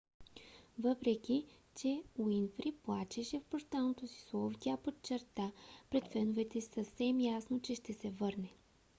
въпреки че уинфри плачеше в прощалното си слово тя подчерта пред феновете си съвсем ясно че ще се върне